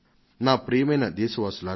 ప్రియమైన నా దేశ వాసులారా